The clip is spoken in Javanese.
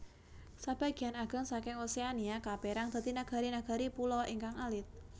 Sabagéyan ageng saking Oseania kapèrang saking nagari nagari pulo ingkang alit